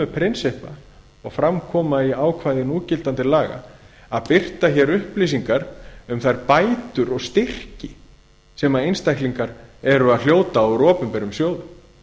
prinsippa og fram koma í ákvæði núgildandi laga að birta hér upplýsingar um þær bætur og styrki sem einstaklingar eru að hljóta úr opinberum sjóðum